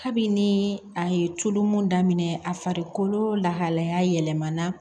Kabini a ye tulu mun daminɛ a farikolo lahalaya yɛlɛmana